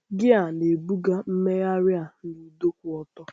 Gịa na-ebuga mmegharị a na ụdọ kwụ ọtọ.